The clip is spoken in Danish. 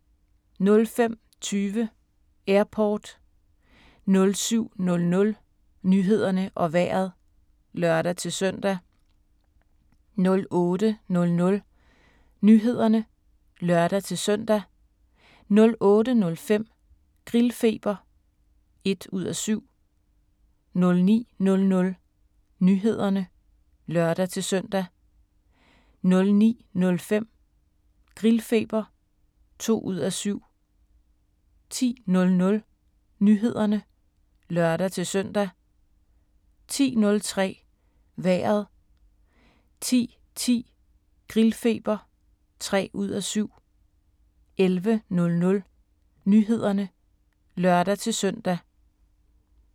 05:20: Airport 07:00: Nyhederne og Vejret (lør-søn) 08:00: Nyhederne (lør-søn) 08:05: Grillfeber (1:7) 09:00: Nyhederne (lør-søn) 09:05: Grillfeber (2:7) 10:00: Nyhederne (lør-søn) 10:03: Vejret 10:10: Grillfeber (3:7) 11:00: Nyhederne (lør-søn)